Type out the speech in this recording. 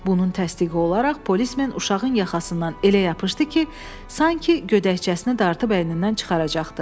Bunun təsdiqi olaraq polis mən uşağın yaxasından elə yapışdı ki, sanki gödəkçəsini dartıb əynindən çıxaracaqdı.